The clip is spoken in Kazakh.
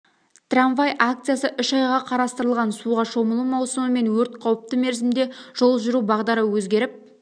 трамвай акциясы үш айға қарастырылған суға шомылу маусымы мен өрт қауіпті мерзімде жол жүру бағдары өзгеріп